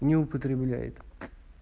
не употребляет